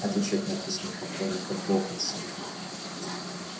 отвечать на письма поклонников локонса